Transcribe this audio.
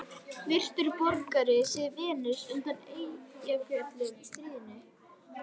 Virtur borgari, sagði Venus undan Eyjafjöllum stríðin.